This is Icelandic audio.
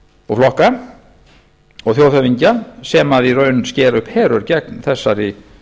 og flokka og þjóðhöfðingja sem í raun skera upp herör gegn þessari